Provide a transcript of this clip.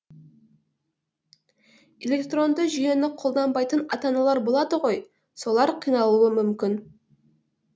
электронды жүйені қолданбайтын ата аналар болады ғой солар қиналуы мүмкін